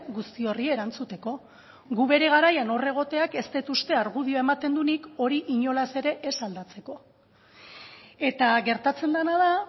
guzti horri erantzuteko gu bere garaian hor egoteak ez dut uste argudioa ematen duenik hori inolaz ere ez aldatzeko eta gertatzen dena da